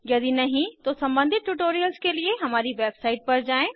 यदि नहीं तो सम्बंधित ट्यूटोरियल्स के लिए हमारी वेबसाइट पर जाएँ